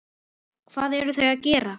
Hvað eru þau að gera?